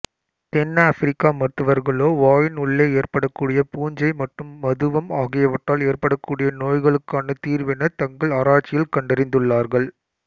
தென்ஆப்ரிக்க மருத்துவர்களோ வாயின் உள்ளே ஏற்படக்கூடிய பூஞ்சை மற்றும் மதுவம் ஆகியவற்றால் ஏற்படக்கூடிய நோய்களுக்கான தீர்வென தங்கள் ஆராய்ச்சியில் கண்டறிந்துள்ளார்கள்